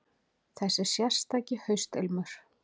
Þessi sérstaki haustilmur.